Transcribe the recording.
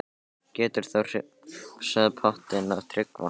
Getur þú hrifsað pottinn af Tryggva?